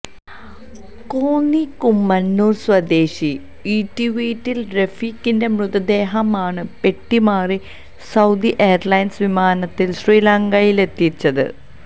കോന്നി കുമ്മണ്ണൂര് സ്വദേശി ഈട്ടിവീട്ടില് റഫീഖിന്റെ മൃതദേഹമാണ് പെട്ടി മാറി സൌദി എയര്ലൈന്സ് വിമാനത്തില് ശ്രീലങ്കയിലെത്തിച്ചത്